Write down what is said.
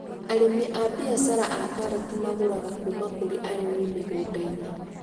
Arĩmi a mbiacara a karati magũraga kuma kũri arĩmi mĩgũnda-inĩ